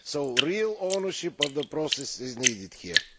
So real ownership of the process is needed here.